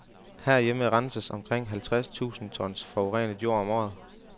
Herhjemme renses omkring halvtreds tusind tons forurenet jord om året.